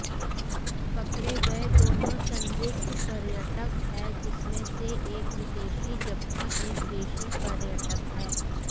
पकडे गए दोनों संदिग्ध पर्यटक है जिसमे से एक विदेशी जबकि एक देशी पर्यटक है